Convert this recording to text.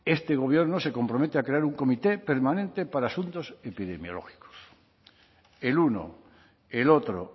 este gobierno se compromete a crear un comité permanente para asuntos epidemiológicos el uno el otro